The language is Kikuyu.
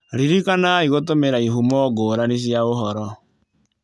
Ririkanai gũtũmĩra ihumo ngũrani cia ũhoro.